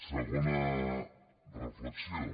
segona reflexió